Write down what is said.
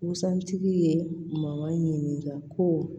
Busan tigi ye maga ko